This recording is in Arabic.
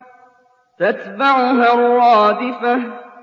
تَتْبَعُهَا الرَّادِفَةُ